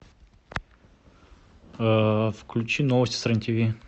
включи новости с рен тиви